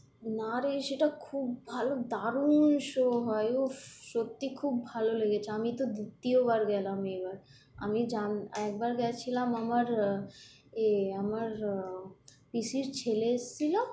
না রে সেটা খুব ভালো দারুন show হয় উহ সত্যি খুব ভালো লেগেছে, আমি তো দ্বিতীয় বার গেলাম এবার। আমি জান একবার গেছিলাম আমার আহ এ আমার আহ পিসির ছেলে এসেছিল,